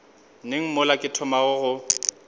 neng mola ke thomago go